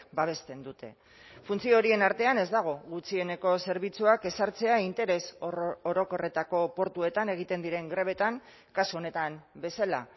babesten dute funtzio horien artean ez dago gutxieneko zerbitzuak ezartzea interes orokorretako portuetan egiten diren grebetan kasu honetan bezala